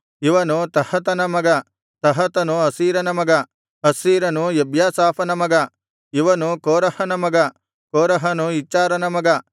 ಇವನು ತಹತನ ಮಗ ತಹತನು ಅಸೀರನ ಮಗ ಅಸ್ಸೀರನು ಎಬ್ಯಾಸಾಫನ ಮಗ ಇವನು ಕೋರಹನ ಮಗ ಕೋರಹನು ಇಚ್ಹಾರನ ಮಗ